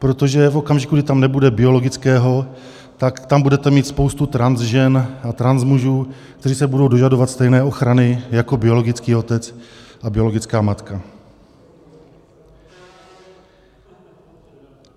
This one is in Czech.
Protože v okamžiku, kdy tam nebude biologického, tak tam budete mít spoustu transžen a transmužů, kteří se budou dožadovat stejné ochrany jako biologický otec a biologická matka.